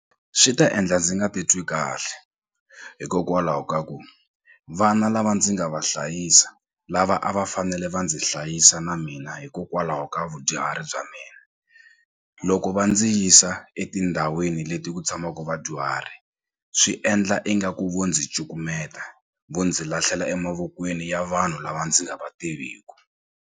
Swi ta endla ndzi nga titwi kahle hikokwalaho ka ku vana lava ndzi nga va hlayisa lava a va fanele va ndzi hlayisa na mina hikokwalaho ka vudyuhari bya mina loko va ndzi yisa etindhawini leti ku tshamaku vadyuhari swi endla ingaku vo ndzi cukumeta vo ndzi lahlela emavokweni ya vanhu lava ndzi nga va tiviku.